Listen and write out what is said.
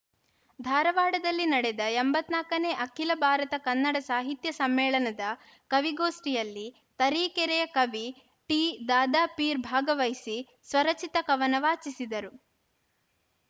ಧಾರವಾಡದಲ್ಲಿ ನಡೆದ ಎಂಬತ್ತ್ ನಾಲ್ಕನೇ ಅಖಿಲ ಭಾರತ ಕನ್ನಡ ಸಾಹಿತ್ಯ ಸಮ್ಮೇಳನದ ಕವಿಗೋಷ್ಠಿಯಲ್ಲಿ ತರೀಕೆರೆಯ ಕವಿ ಟಿದಾದಾಪೀರ್‌ ಭಾಗವಹಿಸಿ ಸ್ವರಚಿತ ಕವನ ವಾಚಿಸಿದರು